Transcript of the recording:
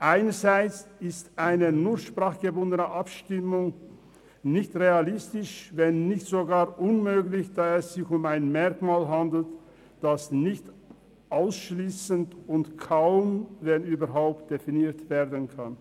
Einerseits ist eine nur sprachgebundene Abstimmung nicht realistisch, wenn nicht sogar unmöglich, da es sich um ein Merkmal handelt, dass nicht ausschliessend und kaum, wenn überhaupt definiert werden kann.